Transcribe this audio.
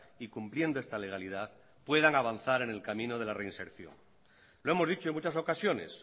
y cumpliendo esta legalidad puedan avanzar en el camino de la reinserción lo hemos dicho en muchas ocasiones